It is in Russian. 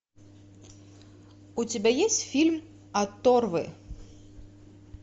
у тебя есть фильм оторвы